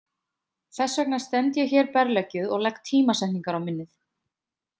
Þess vegna stend ég hér berleggjuð og legg tímasetningar á minnið.